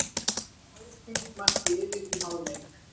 Haukar marki yfir í hálfleik